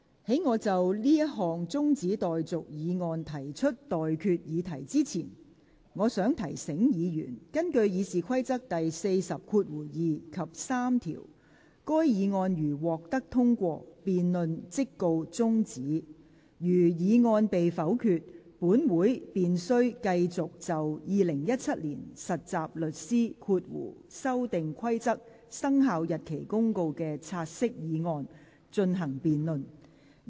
在我就這項中止待續議案提出待決議題之前，我想提醒議員，根據《議事規則》第402及3條，該議案如獲得通過，辯論即告中止待續；如議案被否決，本會便須繼續就《〈2017年實習律師規則〉公告》的"察悉議案"進行辯論。